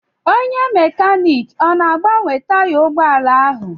Onye mekaniiki ọ na-agbanwe taya ụgbọala ahụ?